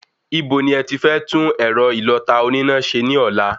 Ibo ni ẹti fẹ́ tún ẹ̀rọ ìlọta oníná ṣe ní ọ̀la?